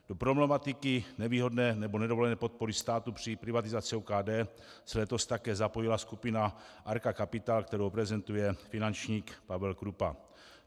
Do problematiky nevýhodné nebo nedovolené podpory státu při privatizaci OKD se letos také zapojila skupina Arca Capital, kterou prezentuje finančník Pavel Krúpa.